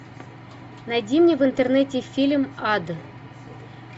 найди мне в интернете фильм ад